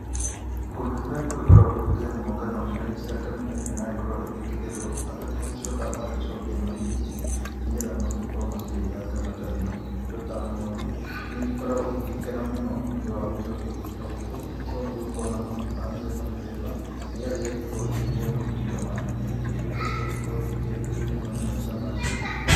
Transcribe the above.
Kũndũ kũrĩa gũgĩkoragwo gũgĩkĩrĩmwo ngano ngano ĩno yagĩkorwo igĩkĩgethwo, andũ nĩ magĩcokaga magagĩcokia mahiũ kuo nĩgetha magagĩkorwo makĩrĩra ngano ta ĩno. Indo ta ng'ondu nĩ igĩkoragwo igĩgĩkena mũno nĩũndũ wa gũgĩcokio kũndũ ta gũkũ nĩ gũkorwo nĩ gũgĩkoragwo na mahuti ma mĩthemba mĩthemba, nĩgetha igagĩkorwo igĩkĩrĩa mahuti ta maya na igagĩtuĩka cia gũgĩkorwo igĩkĩagĩrĩrwo mũno nĩ maica macio